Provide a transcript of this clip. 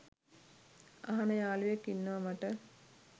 අහන යාලුවෙක් ඉන්නව මට.